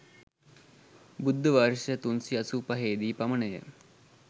බුද්ධ වර්ෂ 385 දී පමණ ය.